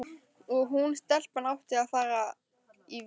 Og hún, stelpan, átti að fara í vist.